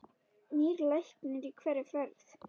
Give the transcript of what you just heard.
Nýr læknir í hverri ferð.